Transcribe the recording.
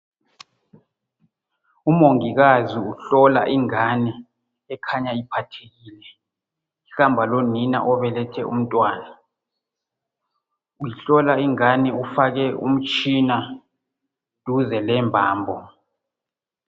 Umongikazi uhlola ingane ekhanya uphathekile. Ihamba lonina obelethe umntwana. Uhlola ingane ufake umtshina duze lembambo.